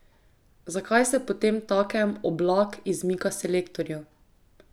Zakaj se potemtakem Oblak izmika selektorju?